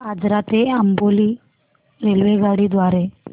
आजरा ते अंबोली रेल्वेगाडी द्वारे